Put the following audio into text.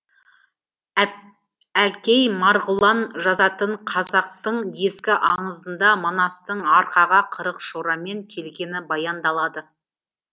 әлкей марғұлан жазатын қазақтың ескі аңызында манастың арқаға қырық шорамен келгені баяндалады